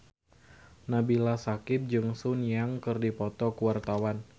Nabila Syakieb jeung Sun Yang keur dipoto ku wartawan